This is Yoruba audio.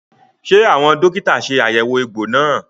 Ṣé àwọn dókítà ṣe àyẹ̀wò egbò náà?